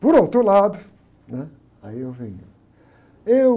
Por outro lado, né? Aí eu venho. Eu...